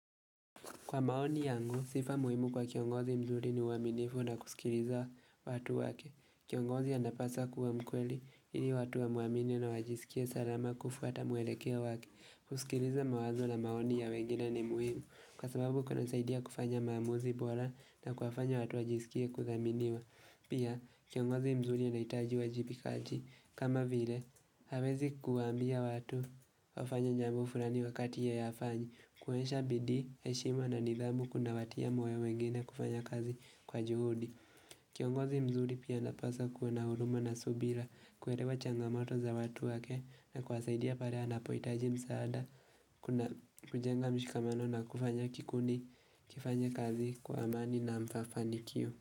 Kwa maoni yangu, sifa muhimu kwa kiongozi mzuri ni uaminifu na kusikiliza watu wake. Kiongozi anapasa kuwa mkweli, ili watu wamwamini na wajisikie salama kufwata mwelekeo wake. Kusikiliza mawazo na maoni ya wengine ni muhimu. Kwa sababu kunasaidia kufanya maamuzi bora na kuwakufanya watu wajisikie kuthaminiwa. Pia, kiongozi mzuri anahitaji uwajibikaji. Kama vile, hawezi kuambia watu wafanye njambo fulani wakati yete hafanyi. Kuonyesha bidii, heshima na nidhamu kuna watia moyo wengine kufanya kazi kwa juhudi Kiongozi mzuri pia napasa kuwa na huruma na subira kuelewa changamato za watu wake na kuwasaidia pale anapohitaji msaada kujenga mshikamano na kufanya kikundi kifanye kazi kwa amani na mfafanikio.